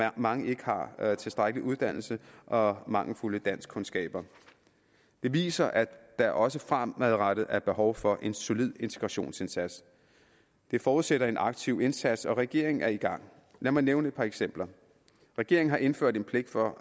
at mange ikke har tilstrækkelig uddannelse og mangelfulde danskkundskaber det viser at der også fremadrettet er behov for en solid integrationsindsats det forudsætter en aktiv indsats og regeringen er i gang lad mig nævne et par eksempler regeringen har indført en pligt for